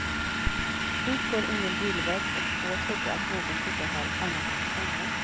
Hit går ingen bilväg och få trodde att någon bodde här annat än på sommaren.